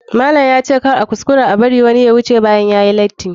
Malam ya ce kar a kuskura a bar wani ya wuce bayan yayi lati.